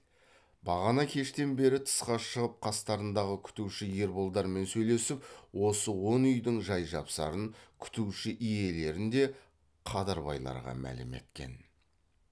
бағана кештен бері тысқа шығып қастарындағы күтуші ерболдармен сөйлесіп осы он үйдің жай жапсарын күтуші иелерін де қадырбайларға мәлім еткен